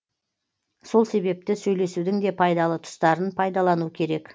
сол себепті сөйлесудің де пайдалы тұстарын пайдалану керек